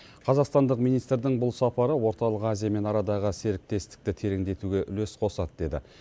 қазақстандық министрдің бұл сапары орталық азиямен арадағы серіктестікті тереңдетуге үлес қосады деді